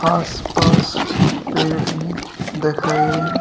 आस पास पेड़ भी दिख रहे हैं।